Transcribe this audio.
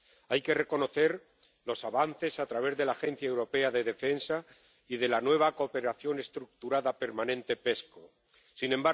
Hay que reconocer los avances a través de la Agencia Europea de Defensa y de la nueva cooperación estructurada permanente Sin